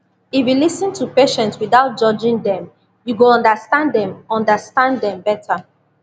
if you lis ten to patient without judging dem you go understand dem understand dem better